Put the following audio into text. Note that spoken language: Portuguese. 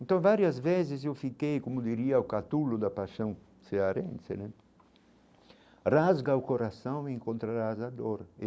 Então, várias vezes eu fiquei, como diria o catulo da paixão cearense né, rasga o coração e encontrarás a dor.